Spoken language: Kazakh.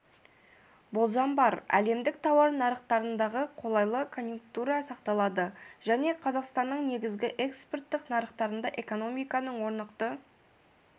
болжам бар әлемдік тауар нарықтарындағы қолайлы конъюнктура сақталады және қазақстанның негізгі экспорттық нарықтарында экономиканың орнықты